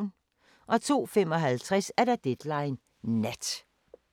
02:55: Deadline Nat